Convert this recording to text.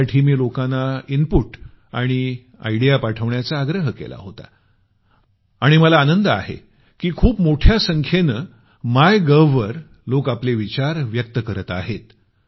यासाठी मी लोकांना इनपुट आणि आयडिया पाठवण्याचा आग्रह केला होता आणि मला आनंद आहे की खूप मोठ्या संख्येनं मायगोव वर लोक आपले विचार व्यक्त करत आहेत